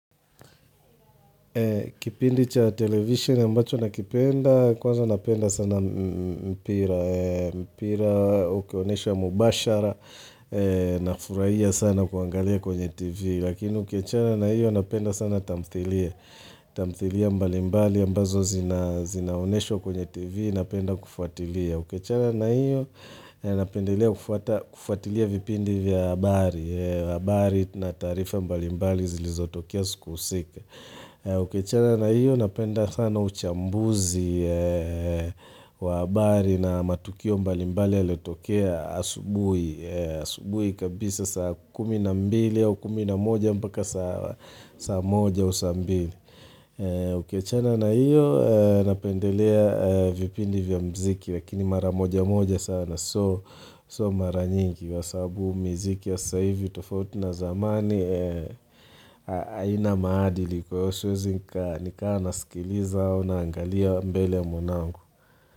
Kipindi cha television ambacho nakipenda, kwanza napenda sana mpira. Mpira ukionesha mubashara na furaia sana kuangalia kwenye tv. Lakini ukiachana na hiyo napenda sana tamthilia. Tamthilia mbalimbali ambazo zinaoneshwa kwenye tv napenda kufuatilia. Ukiachana na iyo napendelea kufuatilia vipindi vya habari. Habari na taarifa mbalimbali zilizotokea siku usika. Ukiachana na hiyo napenda sana uchambuzi wa habari na matukio mbalimbali yallio tokea asubui Asubui kabisa saa kumi na mbili au kumi na moja mpaka saa moja au saa mbili Ukiachana na hiyo napendelea vipindi vya mziki lakini maramoja moja sana so maranyingi wa sababu miziki wa sasa hivi tofauti na zamani haina maadili kwa hiyo siwezi nika nikaa nasikiliza naangalia mbele ya mwanangu.